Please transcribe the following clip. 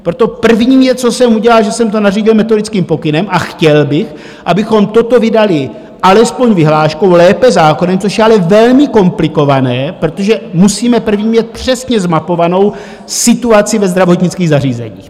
Proto první věc, co jsem udělal, že jsem to nařídil metodickým pokynem, a chtěl bych, abychom toto vydali alespoň vyhláškou, lépe zákonem, což je ale velmi komplikované, protože musíme první mít přesně zmapovanou situaci ve zdravotnických zařízeních.